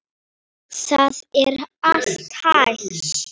Það er allt hægt.